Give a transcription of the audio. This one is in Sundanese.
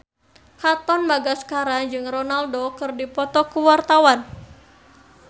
Katon Bagaskara jeung Ronaldo keur dipoto ku wartawan